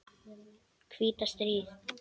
hvíta stríð.